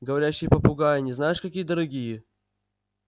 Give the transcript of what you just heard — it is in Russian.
говорящие попугаи они знаешь какие дорогие